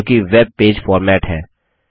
जो कि web page format है